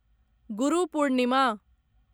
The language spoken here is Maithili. गुरु पूर्णिमा